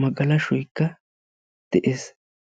magalashoykka de'ees.